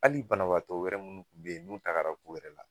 Hali banabaatɔ wɛrɛ munnu kun be yen n'u tagara ko wɛrɛ la